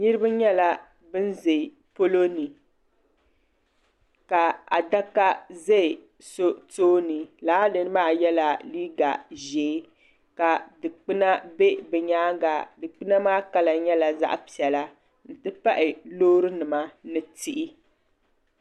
Niriba nyɛla bini zɛ polo ni ka adaka zɛ so tooni lala niri maa yela liiga zɛɛ ka dukpuna bɛ bi yɛanga dukpuna maa kala nyɛla zaɣi piɛlla nti pahi loori nima ni tihi.